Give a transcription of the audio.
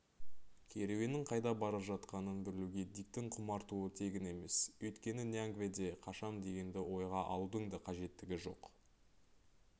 керуеннің қайда бара жатқанын білуге диктің құмартуы тегін емес өйткені ньянгведе қашам дегенді ойға алудың да қажеттігі жоқ